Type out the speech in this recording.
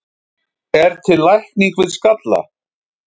er til lækning við skalla